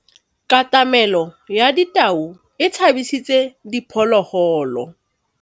Katamêlô ya tau e tshabisitse diphôlôgôlô.